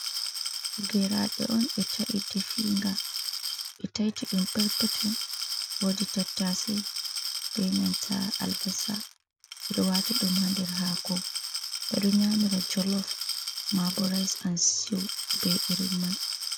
Geraɗe on ɓe tai, definga ɓe taytiɗum perpetel. Wodi tattase be nanta albassa ,ɓeɗo wati ɗum hander hako. Ɓeɗo yamira jolof, mabo riys an sitiw be irin mai.